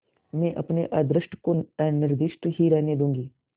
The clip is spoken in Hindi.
मैं अपने अदृष्ट को अनिर्दिष्ट ही रहने दूँगी